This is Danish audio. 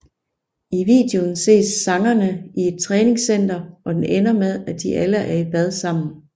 I videoen ses sangerne i et træningscenter og den ender med at de alle er i bad sammen